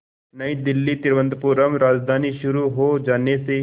नई दिल्ली तिरुवनंतपुरम राजधानी शुरू हो जाने से